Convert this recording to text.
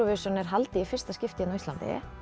Júróvisjón er haldið í fyrsta skipti á Íslandi